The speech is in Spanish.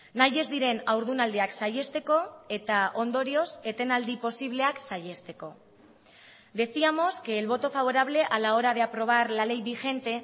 nahi ez diren haurdunaldiak saihesteko eta ondorioz etenaldi posibleak saihesteko decíamos que el voto favorable a la hora de aprobar la ley vigente